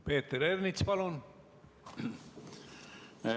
Peeter Ernits, palun!